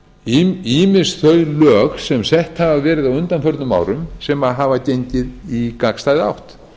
ýmis þau lög sem sett hafa verið á undanförnum árum sem hafa gengið í gagnstæða átt